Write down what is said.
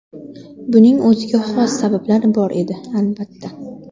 Buning o‘ziga xos sabablari bor edi, albatta.